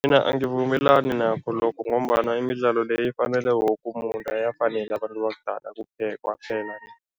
Mina angivumelani nakho lokho ngombana imidlalo le ifanele woke umuntu, ayafaneli abantu bakudala kuphela kwaphela.